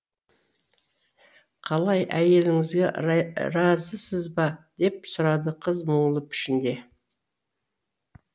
қалай әйеліңізге разысыз ба деп сұрады қыз мұңлы пішінде